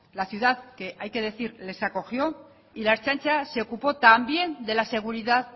la ciudad que hay que decir les acogió y la ertzaintza se ocupó también de la seguridad